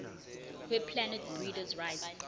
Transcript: weplant breeders rights